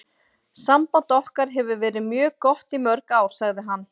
Samband okkar hefur verið mjög gott í mörg ár, sagði hann.